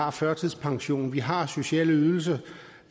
og førtidspension vi har sociale ydelser